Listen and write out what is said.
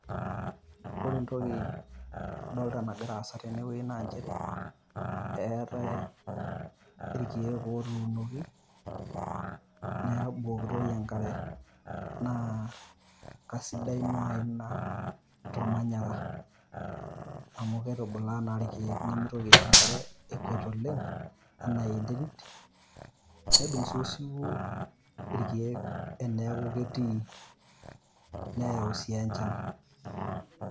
Ore entoki nadolita nagira aasa tene wueji naa nchere, eetae irkiek otunoki neeku kebukokitoi enk'are naa kesidai naaji Ina tolmanyara amu keitubulaa naa irkiek nemeitoki aisho enk'are ekwet oleng' anaa enterit, nedung' sii osiwuo irkiek teneeku ketii neyau sii enchan.